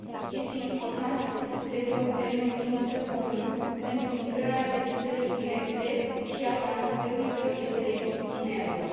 Este important să se fixeze un termen limită comun pentru migrarea debitării directe și a transferurilor de credit în euro.